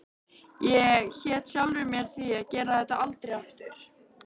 Ég hét sjálfri mér því að gera þetta aldrei aftur.